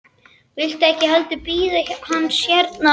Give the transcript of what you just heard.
Viltu ekki heldur bíða hans hérna hjá okkur?